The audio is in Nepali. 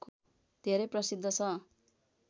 धेरै प्रसिद्ध छ